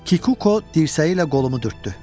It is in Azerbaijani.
Kikuko dirsəyi ilə qolumu dürtdü.